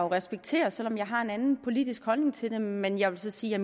respektere selv om jeg har en anden politisk holdning til det men jeg vil sige at